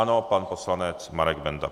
Ano, pan poslanec Marek Benda.